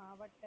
மாவட்டத்